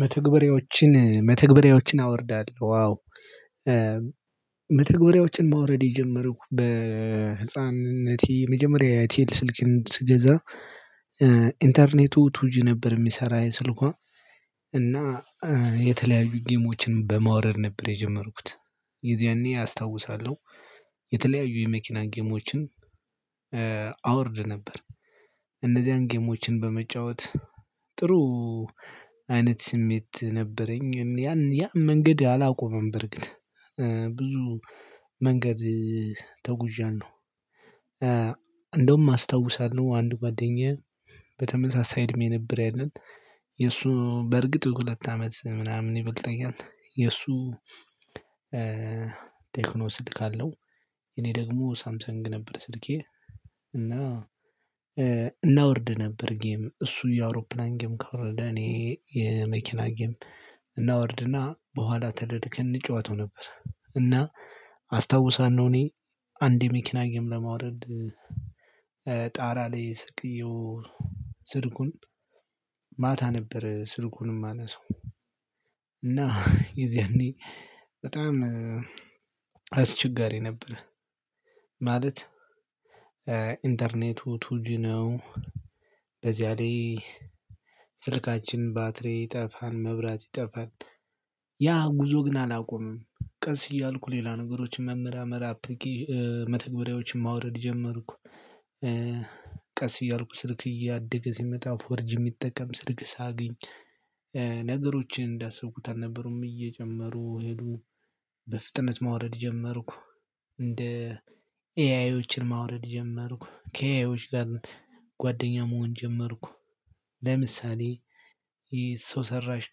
መተግበሪያዎችን መተግበሪያዎችን አወርዳለሁ አዎ። መተግበሪያዎችን ማውረድ የጀመርኩ በህፃንነቴ የመጀመሪያ አይቴል ስልክን ስገዛ ኢንተርኔቱ ቱጂ ነበር የሚሰራ የስልኳ እና የተለያዩ ጌሞችን በማዉረድ ነበር የጀመርኩት የዚያኔ አስታውሳለሁ የተለያዩ የመኪና ጌሞችን አወርድ ነበር እነዚያን ጌሞችን በመጫወት ጥሩ አይነት ስሜት ነበረኝ ያን ያም መንገድ አላቆመም በርግጥ ብዙ መንገድ ተጉዣለሁ። እንደውም አስታውሳለሁ አንድ ጓደኛዬ በተመሳሳይ እድሜ ነበር ያለን የእሱ በእርግጥ ሁለት አመት ምናምን ይበልጠኛል የእሱ ቴክኖ ስልክ አለው እኔ ደግሞ ሳምሰንግ ነበር ስልኬ እና እናወርድ ነበር ጌም እሱ የአውሮፕላን ጌም ካወረደ እኔ የመኪና ጌም እናወርድና በኋላ ተደድከን እንጫወተው ነበር እና አስታውሳለሁ እኔ አንድ መኪና ጌም ለማውረድ ጣራ ላይ ሰቅየው ስልኩን ማታ ነበረ ስልኩን የማነሳው እና የዚያኔ በጣም አስቸጋሪ ነበር ማለት ኢንተርኔቱ ቱጁ ነው፣ በዚያ ላይ ስርካችን ባትሪ ይጠፋል መብራት ይጠፋል ያ ጉዞ ግን አላቆመም ቀስ እያልኩ ሌላ ነገሮችን መመራመር አፕሊኬ መተግበሪያዎችን ማውረድ ጀመርኩ፣ ቀስ እያልኩ ስልክ እያደገ ሲመጣ ፎርጅ የሚጠቀም ስልክ ሳግኝ ነገሮችን እንዳሰብኩት አልነበሩም እየጀመሩ ሄዱ፣ በፍጥነት ማውረድ ጀመርኩ፣ እንደ ኤአይዎችን ማውረድ ጀመርኩ፣ ከኤአይዎች ጋር ጓደኛ መሆን ጀመርኩ፣ ለምሳሌ የሰው ሰራሽ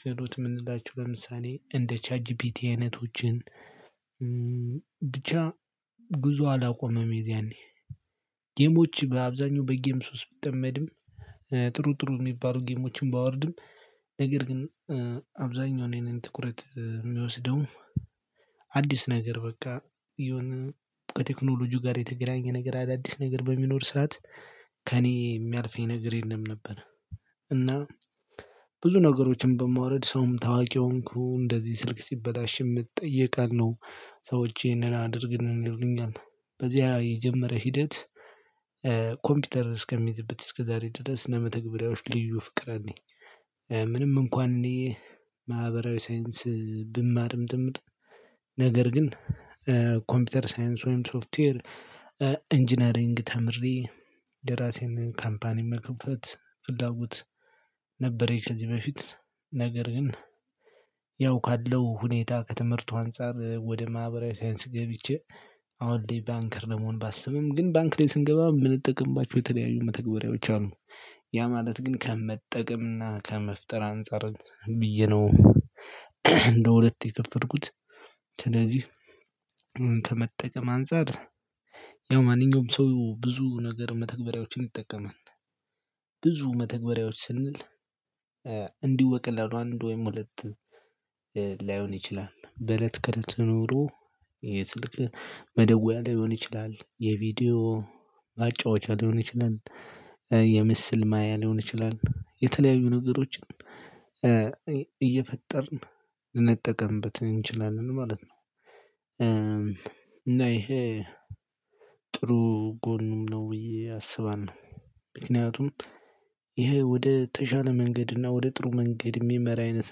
ክህሎት የምንላቸው ለምሳሌ እንደ ቻትጂፒቲ አይነቶችን ብቻ ጉዞ አላቆመም የዛኔ ጌሞች በአብዛኛው በጌም ሱስ ብጠመድም፣ ጥሩ ጥሩ የሚባሉ ጌሞችን ባወርድም፣ ነገር ግን አብዛኛውን የኔን ትኩረት የሚወስደው አዲስ ነገር በቃ የሆነ በቴክኖሎጂው ጋር የተገናኘ ነገር አዳዲስ ነገር በሚኖር ሰዓት ከእኔ የሚያልፈኝ ነገር የለም ነበር እና ብዙ ነገሮችን በማውረድ ሰውም ታዋቂ ሆንኩ እንደዚህ ስልክ ሲበላሽም እጠየቃለሁ። ሰዎች ይሄንን አድርግልን ይሉኛል በዚህ የጀመረ ሂደት ኮምፒውተር እስከሚይዝበት እስከዛሬ ድረስ ለመተግበሪያዎች ልዩ ፍቅር አለኝ። ምንም እንኳን እኔ ማህበራዊ ሳይንስ ብማርም ትምህርት ነገር ግን ኮምፒውተር ሳይንስ ወይም ሶፍትዌር ኢንጂነሪንግ ተምሬ የራሴን ካምፓኒ መክፈት ፍላጎት ነበርኝ ከዚህ በፊት ነገር ግን ያው ካለው ሁኔታ ከትምህርቱ አንፃር ወደ ማህበራዊ ሳይንስ ገብቼ አሁን ላይ ባንከር ለመሆን ባሰብም ግን ባንክ ላይ ስንገባ የምንጠቀምባችሁ የተለያዩ መተግበሪያዎች አሉ ያ ማለት ግን ከመጠቀምና ከመፍጠር አንፃር ብዬ ነው እንደ ሁለት የከፈርኩት ስለዚህ ከመጠቀም አንፃር ያው ማንኛውም ሰው ብዙ ነገር መተግበሪያዎችን ይጠቀማል። ብዙ መተግበሪያዎች ስንል እንዲሁ በቀላሉ አንድ ወይም ሁለት ላይሆን ይችላል በእለት ከእለት ኑሮ የስልክ መደወያ ሊሆን ይችላል፣ የቪዲዮ ማጫወቻ ሊሆን ይችላል፣ የምስል ማያ ሊሆን ይችላል የተለያዩ ነገሮችን እየፈጠርን ልንጠቀምበት እንችላለን ማለት ነው እና ይሄ ጥሩ ጎኑን ነው ብዬ አስባለሁ ምክንያቱም ይሄ ወደ ተሻለ መንገድ እና ወደ ጥሩ መንገድ የሚመራ አይነት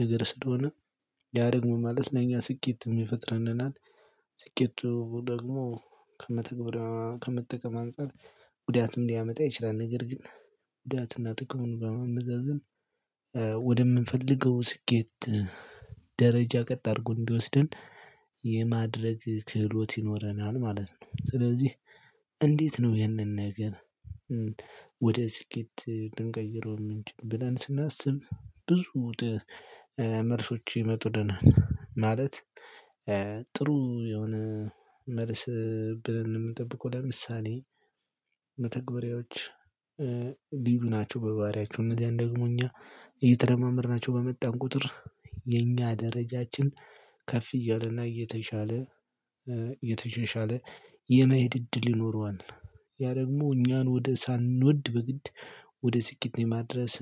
ነገር ስለሆነ ያ ደግሞ ማለት ነው ለኛ ስኬትም ይፈጥረንናል። ስኬቱ ደግሞ ከመተግበሪያው ከመጠቀም አንፃር ጉዳትም ሊያመጣ ይችላል፤ ነገር ግን ጉዳትና ጥቅሙን በማመዛዘን ወደምንፈልገው ስኬት ደረጃ ቀጥ አድርጎ እንዲወስደን የማድረግ ክህሎት ይኖረናል ማለት ነው፣ ስለዚህ እንዴት ነው ይሄንን ነገር ወደ ስኬት ልንቀይረው የምንችልለው ብለን ስናስብ ብዙ መልሶች ይመጡናል ማለት ጥሩ የሆነ መልስ ብለን የምንጠብቀው ለምሳሌ መተግበሪያዎች ልዩ ናቸው በባህሪያቸው እነዚህን ደግሞ እኛ እየተለማመድናቸው በመጣን ቁጥር የኛ ደረጃችን ከፍ እያለና እየተሻለ እየተሻሻለ የመሄድ እድል ይኖረዋል። ያ ደግሞ እኛን ወደ ሳንወድ በግድ ወደ ስኬት የማድረስ